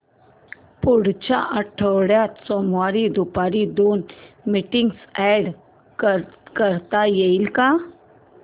पुढच्या आठवड्यात सोमवारी दुपारी दोन मीटिंग्स अॅड करता येतील का